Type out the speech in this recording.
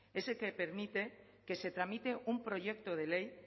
ese que permite que se tramite un proyecto de ley